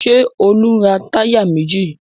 Ṣé Olú ń ra táyà méjì?